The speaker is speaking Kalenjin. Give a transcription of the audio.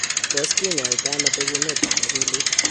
Tos kinyaita ano bekunetab akilit?